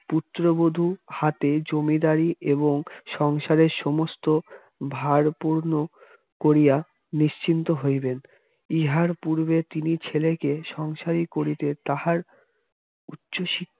পুত্রবধূ হাতে জমিদারি এবং সংসারের সমস্ত ভারার্পণ করিয়া নিশ্চিন্ত হইবেন ইহার পূর্বে তিনি ছেলেকে সংসারী করিতে তাহার উচ্চশিক্ষা